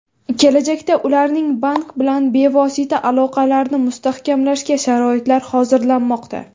Kelajakda ularning bank bilan bevosita aloqalarni mustahkamlashga sharoitlar hozirlanmoqda.